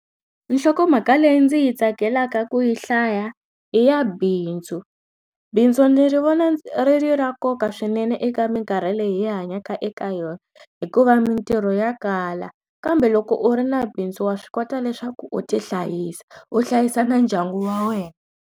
Nhlokomhaka leyi ndzi yi tsakelaka ku yi hlaya i ya bindzu bindzu ndzi ri vona ri ri ra nkoka swinene eka minkarhi leyi hi hanyaka eka yona hikuva mintirho ya kala kambe loko u ri na bindzu wa swi kota leswaku u ti hlayisa u hlayisa na ndyangu wa wena.